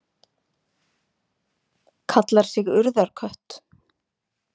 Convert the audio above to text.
Kallar sig Urðarkött.